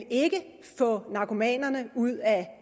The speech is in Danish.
få narkomanerne ud af